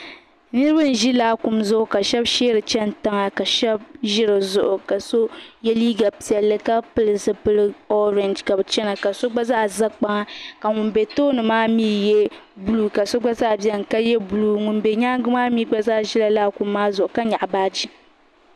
niriba ʒɛ laakum zuɣ' ka shɛba shɛri chintiŋa ka shɛba ʒɛ di zuɣ' ka so yɛ liga piɛlli ka pili zibli vakahili ka chɛna ka so gba zaa za ka ŋɔ bɛ tooni maa yɛ zaŋ nuɣ'so ka so gba yɛ zaɣ'yambilm ŋɔ bɛ nyɛga maa gba zaa ʒiɛla laakum maa zuɣ' ka nyɛɣ'baaji